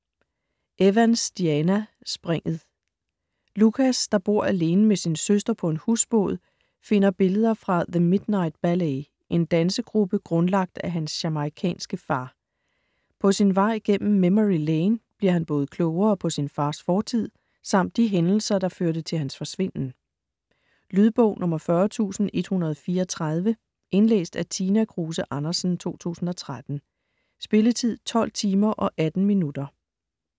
Evans, Diana: Springet Lucas, der bor alene med sin søster på en husbåd, finder billeder fra The Midnight Ballet, en dansegruppe grundlagt af hans jamaicanske far. På sin vej gennem memory lane bliver han både klogere på sin fars fortid, samt de hændelser, der førte til hans forsvinden. Lydbog 40134 Indlæst af Tina Kruse Andersen, 2013. Spilletid: 12 timer, 18 minutter.